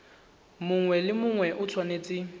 mongwe le mongwe o tshwanetse